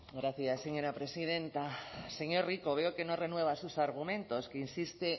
gracias señora presidenta señor rico veo que no renueva sus argumentos que insiste